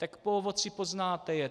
Tak po ovoci poznáte je.